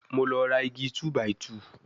Mo lọ ra igi 2-by-2